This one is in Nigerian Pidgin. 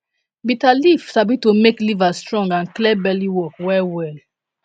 bitter leaf sabi to make liver strong and clear belly work well well